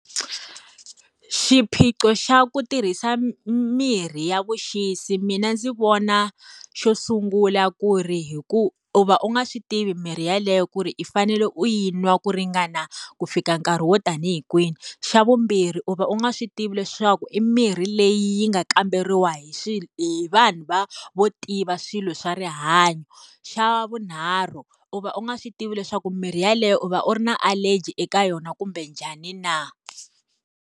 Xiphiqo xa ku tirhisa mirhi ya vuxisi mina ndzi vona xo sungula ku ri hi ku, u va u nga swi tivi mirhi yeleyo ku ri i fanele u yi nwa ku ringana ku fika nkarhi wo ta ni hi kwihi? Xa vumbirhi u va u nga swi tivi leswaku i mirhi leyi yi nga kamberiwa hi hi vanhu va vo tiva swilo swa rihanyo. Xa vunharhu u va u nga swi tivi leswaku mimirhi yeleyo u va u ri na allergy eka yona kumbe njhani na.